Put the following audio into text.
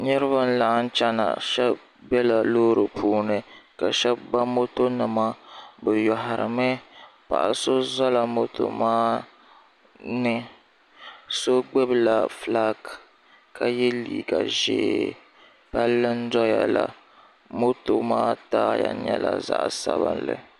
niriba n laɣim chɛna shɛb bɛla lori puuni ka shɛb ba mɔtonima be yuhirami paɣ' so zala ban ba mɔto maa ni so gbabila ƒɔlaagi ka yɛ liga ʒiɛ pali n doyala mɔto maa taya n nyɛla zaɣ' sabinli